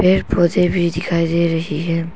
पेड़ पौधे भी दिखाई दे रही है।